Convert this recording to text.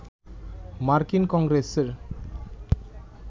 মার্কিন কংগ্রেসের